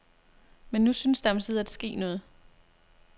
Men nu synes der omsider at ske noget.